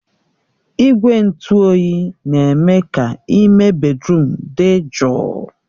Igwe ntụ oyi na-eme ka ime bèdrụm dị jụụ